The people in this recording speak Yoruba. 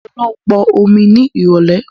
Mo ń lọ pọn omi ni irọ̀lẹ́